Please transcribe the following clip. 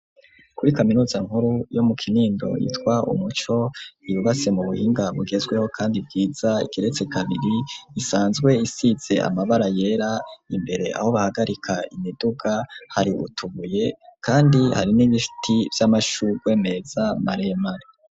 Kuri kaminuza nkuru yo mu Kinindo yitwa umuco yubatse mu buhinga bugezweho kandi bwiza igeretse kabiri, isanzwe isize amabara yera, imbere aho bahagarika imiduga hari utubuye kandi hari n'ibiti vy'amashurwe meza maremare.